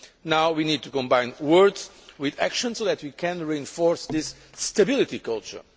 Now we need to combine words with actions so that we can reinforce this stability culture.